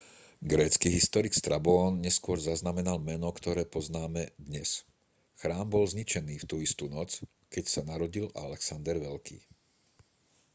grécky historik strabón neskôr zaznamenal meno ktoré poznáme dnes chrám bol zničený v tú istú noc keď sa narodil alexander veľký